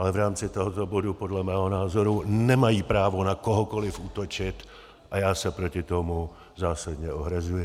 Ale v rámci tohoto bodu podle mého názoru nemají právo na kohokoliv útočit a já se proti tomu zásadně ohrazuji.